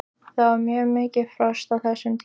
Það var mjög mikið frost á þessum tíma.